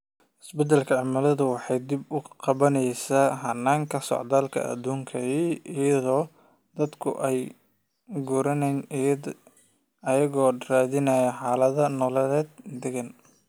Isbeddelka cimiladu waxay dib u qaabaynaysaa hannaankii socdaalka adduunka, iyadoo dadku ay u guurayaan iyagoo raadinaya xaalado nololeed oo deggan.